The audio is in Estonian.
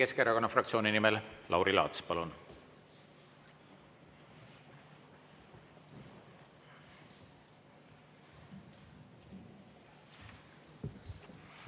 Eesti Keskerakonna fraktsiooni nimel Lauri Laats, palun!